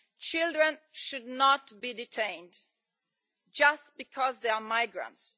Children should not be detained just because they are migrants.